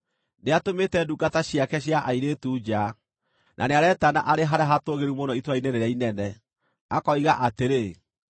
Nĩatũmĩte ndungata ciake cia airĩtu nja, na nĩaretana arĩ harĩa hatũũgĩru mũno itũũra-inĩ rĩrĩa inene, akoiga atĩrĩ: